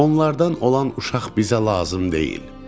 Onlardan olan uşaq bizə lazım deyil.